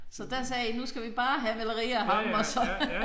Så der sagde I nu skal vi bare have malerier af ham og så